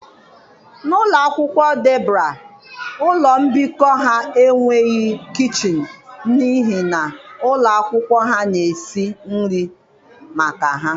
N'ụlọ akwụkwọ Debra ụlọ mbikọ ha enweghị kichin n'ihi na ụlọ akwụkwọ ha na-esi nri maka ha